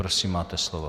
Prosím, máte slovo.